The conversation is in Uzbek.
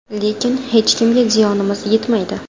Lekin hech kimga ziyonimiz yetmaydi.